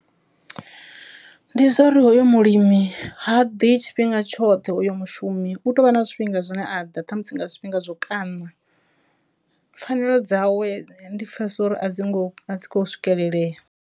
Ndi zwauri hoyo mulimi ha ḓi tshifhinga tshoṱhe u yo mushumi u tovha na zwifhinga zwine a ḓa ṱhamusi nga zwifhinga zwo kana, pfhanelo dzawe ndi pfesesa uri a dzi ngo a dzi kho swikelelea.